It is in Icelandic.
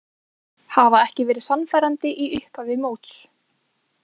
Hafa ekki verið sannfærandi í upphafi móts.